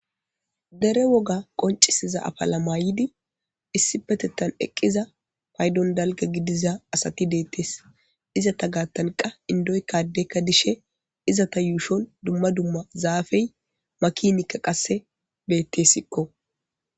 Dere woga qoncisiza afala mayidi issi petettan eqqiza paydon dalga gidiza asati deettes izata gaattanqa indoykkadekka dishe izata yuushon dumma dumma zaafey makinikka qasse beettesikko